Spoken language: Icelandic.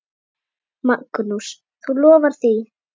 Magnús: Þú lofar því?